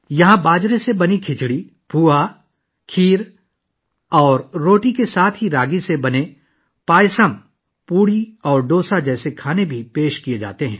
باجرے کی کھچڑی، پوہا، کھیر اور روٹی کے ساتھ ساتھ راگی پر مبنی پیاسم، پوری اور ڈوسا جیسے پکوان بھی یہاں پیش کیے جاتے ہیں